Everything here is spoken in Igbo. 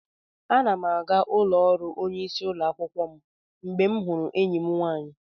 Ana m aga ụlọ ọrụ onyeisi ụlọ akwụkwọ mgbe m hụrụ enyi m nwaanyị.